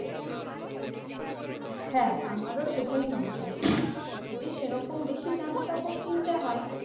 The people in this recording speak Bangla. হ্যাঁ আমারও সেটাই মনে হয়। যদি সেরকম বেশি জামাকাপড় কিনতে হয়